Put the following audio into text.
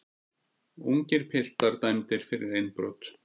Ungir piltar dæmdir fyrir innbrot